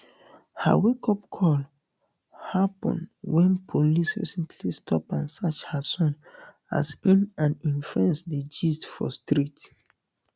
her wakeup call happun wen police recently stop and search her son as im and im friends dey gist for street